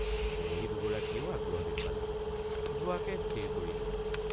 কুঁৱৰী দুগৰাকীয়েও আগ্ৰহ দেখুৱালে—–যোৱাকে স্থিৰ কৰিলোঁ।